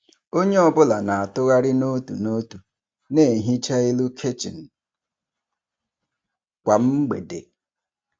Onye ọ bụla na-atụgharị n'otu n'otu na-ehichapụ elu kichin kwa mgbede.